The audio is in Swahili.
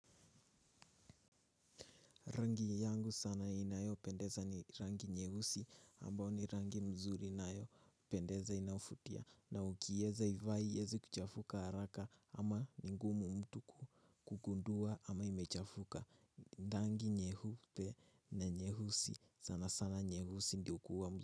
Rangi yangu sana inayopendeza ni rangi nyeusi ambayo ni rangi nzuri inayo pendeza inayovutia. Na ukiweza kuivaa haiwezi kuchafuka haraka ama ni vingumu mtu kugundua kama imechafuka. Rangi nyeupe na nyeusi sana sana nyeusi ndiyo huwa nzuri.